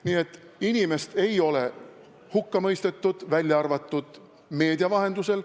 Nii et inimest ei ole hukka mõistetud, välja arvatud meedia vahendusel.